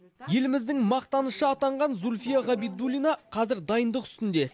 еліміздің мақтанышы атанған зульфия ғабидуллина қазір дайындық үстінде